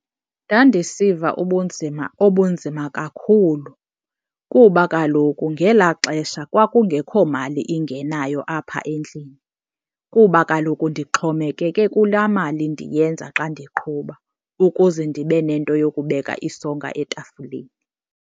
Ndandisiva ubunzima obunzima kakhulu kuba kaloku ngelaa xesha kwakungekho mali ingenayo apha endlini. Kuba kaloku ndixhomekeke kulaa mali ndiyenza xa ndiqhuba ukuze ndibe nento yokubeka isonka etafileni.